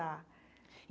Tá.